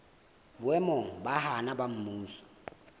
boemong ba naha ba mmuso